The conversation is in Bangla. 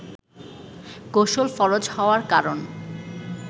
গোসল ফরজ হওয়ার কারন